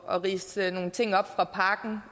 at ridse nogle ting op fra pakken